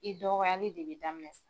I dɔgɔyali de bɛ daminɛ sa.